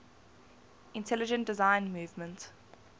intelligent design movement